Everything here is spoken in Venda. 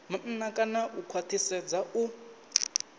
maanḓa kana u khwaṱhisedza u